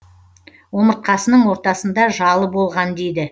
омыртқасының ортасында жалы болған дейді